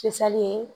Fisali ye